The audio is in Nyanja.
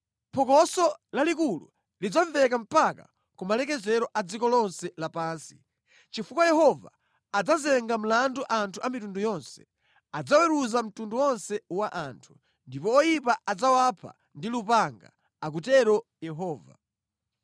Phokoso lalikulu lidzamveka mpaka kumalekezero a dziko lonse lapansi, chifukwa Yehova adzazenga mlandu anthu a mitundu yonse; adzaweruza mtundu wonse wa anthu ndipo oyipa adzawapha ndi lupanga,’ ” akutero Yehova.